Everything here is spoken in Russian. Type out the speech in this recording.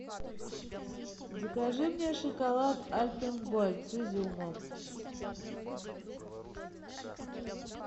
закажи мне шоколад альпен гольд с изюмом